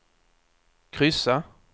kryssa